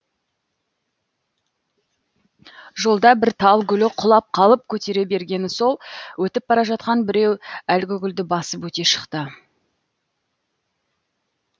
жолда бір тал гүлі құлап қалып көтере бергені сол өтіп бара жатқан біреу әлгі гүлді басып өте шықты